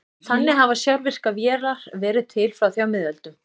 Þannig hafa sjálfvirkar vélar verið til frá því á miðöldum.